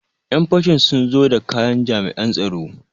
Ƴan fashin sun zo da kayan jami'an tsaro.